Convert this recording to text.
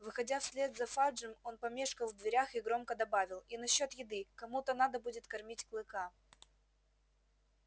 выходя вслед за фаджем он помешкал в дверях и громко добавил и насчёт еды кому-то надо будет кормить клыка